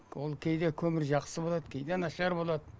ол кейде көмір жақсы болады кейде нашар болады